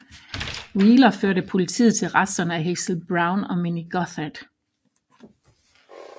Wheeler førte politiet til resterne af Hazel Brown og Minnie Gotthard